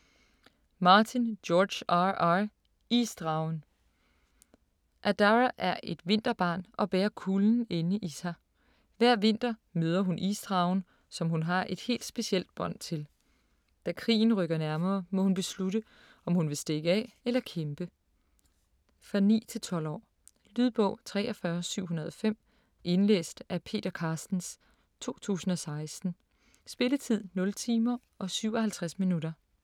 Martin, George R. R.: Isdragen Adara er et vinterbarn og bærer kulden inde i sig. Hver vinter møder hun isdragen, som hun har et helt specielt bånd til. Da krigen rykker nærmere, må hun beslutte, om hun vil stikke af eller kæmpe. For 9-12 år. Lydbog 43705 Indlæst af Peter Carstens, 2016. Spilletid: 0 timer, 57 minutter.